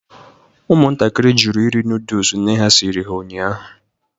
Ụmụntakịrị jụrụ iri nodles nne ha siriri ha ụnyahụ.